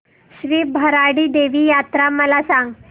श्री भराडी देवी यात्रा मला सांग